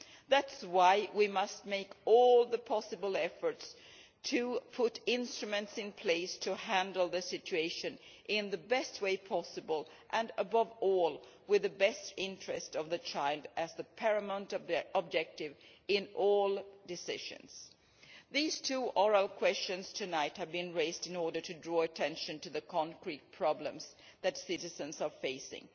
That is why we must make all possible efforts to put instruments in place to handle the situation in the best way possible and, above all, with the best interests of the child as the paramount objective in all decisions. These two oral questions tonight have been raised in order to draw attention to the concrete problems that citizens are facing.